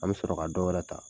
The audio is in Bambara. An be sɔrɔ ka dɔ wɛrɛ ta.